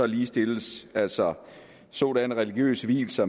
ligestilles altså sådanne religiøse vielser